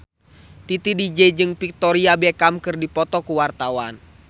Titi DJ jeung Victoria Beckham keur dipoto ku wartawan